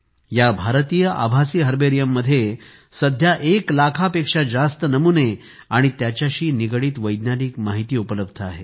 या भारतीय आभासी हर्बेरियम मध्ये सध्या एक लाखापेक्षा जास्त नमुने आणि त्यांच्याशी निगडीत वैज्ञानिक माहिती उपलब्ध आहे